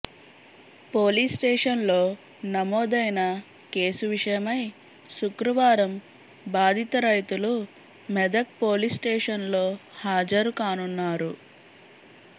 పోలీస్స్టేషన్లో నమోదైన కేసు విషయమై శుక్రవారం బాధిత రైతులు మెదక్ పోలీస్స్టేషన్లో హాజరు కానున్నారు